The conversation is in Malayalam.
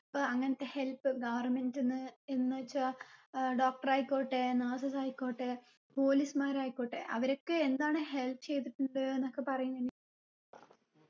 അപ്പൊ അങ്ങനത്തെ help government ന്ന് എന്ന് വച്ചാ ഏർ doctor ആയിക്കോട്ടെ nurses ആയിക്കോട്ടെ police മാര് ആയിക്കോട്ടെ അവരൊക്കെ എന്താണ് help ചെയ്യ്തിട്ടുള്ളത് എന്നൊക്കെ പറയു നനി